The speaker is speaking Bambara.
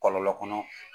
Kɔlɔlɔ kɔnɔ